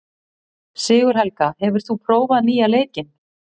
Sigurhelga, hefur þú prófað nýja leikinn?